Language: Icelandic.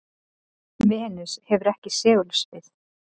venus hefur ekki segulsvið